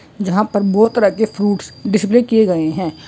जहाँ पर बोहत तरह के फ्रूट्स डिस्प्ले किये गए है|